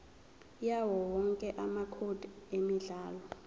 yawowonke amacode emidlalo